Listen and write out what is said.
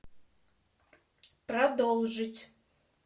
продолжить